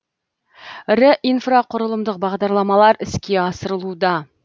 ірі инфрақұрылымдық бағдарламалар іске асырылуда